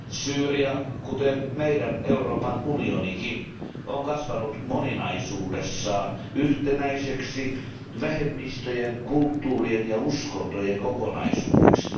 Syyria, kuten Euroopan unionikin, on kasvanut moninaisuudessaan yhtenäiseksi vähemmistöjen, kulttuurien ja uskontojen kokonaisuudeksi.